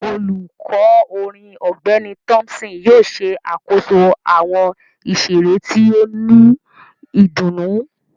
Olukọ orin Ọgbẹni Thompson yóò ṣe akoso awọn iṣere ti o ni idunnu